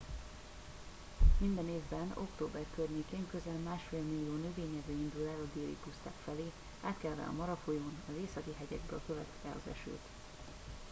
minden évben október környékén közel másfél millió növényevő indul el a déli puszták felé átkelve a mara folyón az északi hegyekből követve az esőt